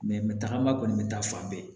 tagama kɔni bɛ taa fan bɛɛ